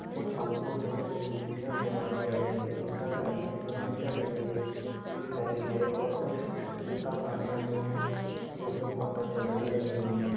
कुछ हमको civil engineer दिखाई दे रहे है रेता डली है सीमेंट डली है शीत डली है और कुछ रेता भर रहे है ये हमें बोहोत अच्छा लगेगा एक महीने में --